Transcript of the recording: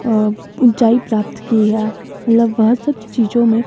अह ऊंचाई प्राप्त की है मतलब वह सब चीजों में--